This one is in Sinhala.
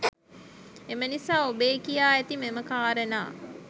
එම නිසා ඔබේ කියා ඇති මෙම කාරණා